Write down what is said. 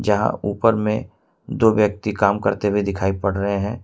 यहां ऊपर में दो व्यक्ति काम करते हुए दिखाई पड़ रहे हैं।